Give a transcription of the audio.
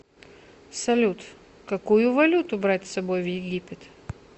салют какую валюту брать с собой в египет